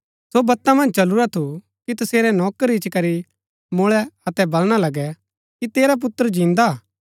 सो बता मन्ज चलुरा थू कि तसेरै नौकर इच्ची करी मुळै अतै बलणा लगै कि तेरा पुत्र जिन्दा हा